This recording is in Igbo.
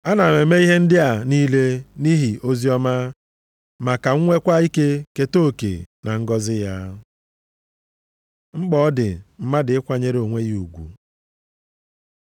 Ana m eme ihe ndị a niile nʼihi oziọma, ma ka m nwekwa ike keta oke na ngọzị ya. Mkpa ọ dị mmadụ ịkwanyere onwe ya ugwu